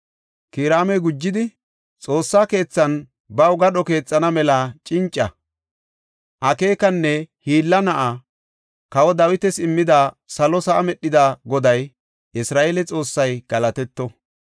Kiraami gujidi, “Xoossa keethaanne baw gadho keexana mela cinca, akeekanne hiilla na7aa kawa Dawitas immida, salo sa7aa medhida Goday, Isra7eele Xoossay galatetto.